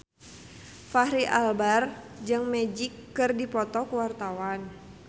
Fachri Albar jeung Magic keur dipoto ku wartawan